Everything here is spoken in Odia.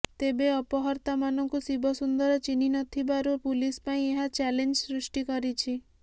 ତେବେ ଅପହର୍ତ୍ତାମାନଙ୍କୁ ଶିବସୁନ୍ଦର ଚିହ୍ନି ନଥିବାରୁ ପୁଲିସ ପାଇଁ ଏହା ଚ୍ୟାଲେଞ୍ଜ ସୃଷ୍ଟି କରିଛି